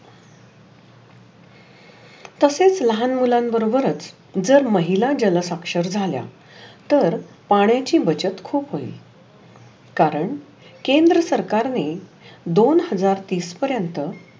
तशेच लहान मुलांन बरोबर जर महिला जल साक्षर झाल्या. तर पाण्याचा बचत खुप बचत होइल. कारण केंद्र सरकारने दोन हाजर तीस पर्यन्त